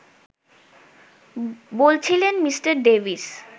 বলছিলেন Mr. Davies